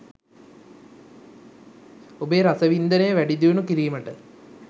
ඔබේ රසවින්දනය වැඩිදියුණු කිරීමට